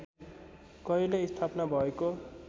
कहिले स्थापना भएको